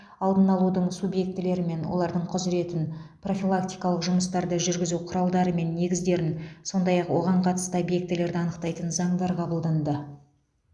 алдын алудың субъектілері мен олардың құзыретін профилактикалық жұмыстарды жүргізу құралдары мен негіздерін сондай ақ оған қатысты объектілерді анықтайтын заңдар қабылданды